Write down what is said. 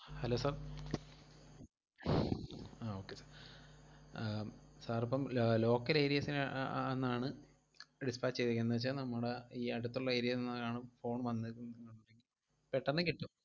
Hello sir ah okay ah sir ഇപ്പം uh local areas ന് അ~ അ~ ~ന്ന് ആണ് dispatch ചെയ്തേക്കുന്നെന്നു വെച്ചാ നമ്മടെ ഈ അടുത്തൊള്ള area ന്ന് ആണ് phone പെട്ടന്ന് കിട്ടും.